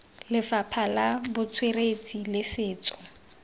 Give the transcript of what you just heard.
lefapha la botsweretshi le setso